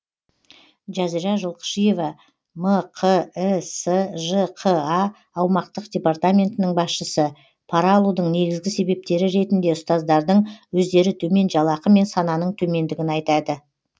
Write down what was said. жазира жылқышиева мқісжқа аумақтық департаментінің басшысы пара алудың негізгі себептері ретінде ұстаздардың өздері төмен жалақы мен сананың төмендігін айтады